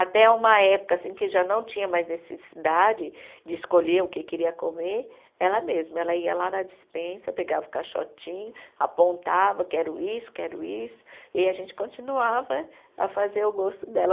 Até uma época assim que já não tinha mais necessidade de escolher o que queria comer, ela mesma, ela ia lá na dispensa, pegava o caixotinho, apontava, quero isso, quero isso, e a gente continuava a fazer o gosto dela.